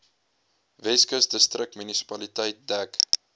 weskus distriksmunisipaliteit dek